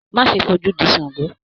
Má ṣe f'ojú dì ṣàngó!